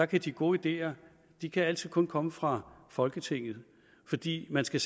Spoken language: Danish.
kan de gode ideer ideer altid kun komme fra folketinget fordi man skal